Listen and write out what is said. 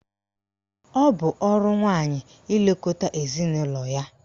Ọ bụ ọrụ nwaanyị ilekọta ezinaụlọ ya.